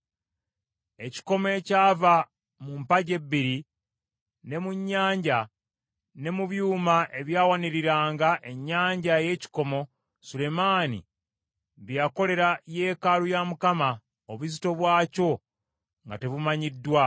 Ekikomo ekyava mu mpagi ebbiri, ne mu nnyanja, ne mu byuma ebyawaniriranga ennyanja ey’ekikomo, Sulemaani bye yakolera yeekaalu ya Mukama , obuzito bwakyo nga tebumanyiddwa.